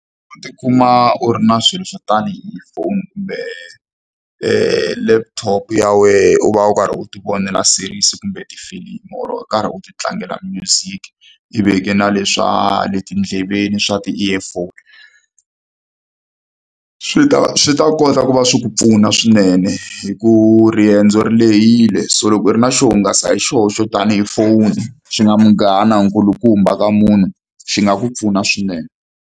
U tikuma u ri na swilo swo tanihi phone kumbe laptop ya wena u va u karhi u tivonela series kumbe tifilimu or u karhi u tilangela music i veke na leswa le tindleveni swa ti-earphone swi ta swi ta kota ku va swi ku pfuna swinene hikuva riendzo ri lehile so loko u ri na xo hungasa hi xihoxo tanihi phone xi nga munghana nkulukumba ka munhu xi nga ku pfuna swinene.